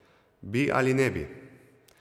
Bi ali ne bi.